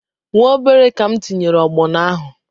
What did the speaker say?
Nwa obere ka m tinyere ọgbọnọ ahụ